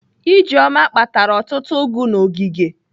Ijeoma kpatara ọtụtụ ụgụ n'ogige.